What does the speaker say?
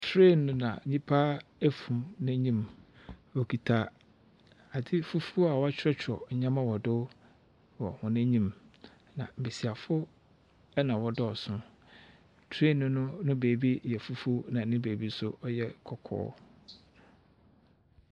Train na nyipa afum n'anyim, wokita adze fufuwɔ a wakyerɛkyerɛw nyɛma wɔ do wɔ n'enyim, na mmesiafo na wɔdɔɔ so. Train no ne baabi yɛ fufuw na ne baabi nso ɛyɛ kɔkɔɔ.